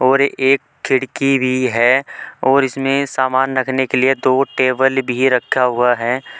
और एक खिड़की भी है और इसमें सामान रखने के लिए दो टेबल भी रखा हुआ है।